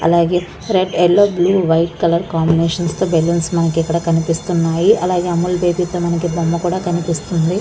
అలాగే red yellow green white colour combination balloons మనకి ఇక్కడ కనిపిస్తున్నాయి .అలాగే అముల్ బేబీ తో మనకు బొమ్మ కూడా కనిపిస్తుంది.